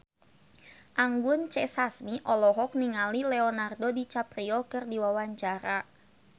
Anggun C. Sasmi olohok ningali Leonardo DiCaprio keur diwawancara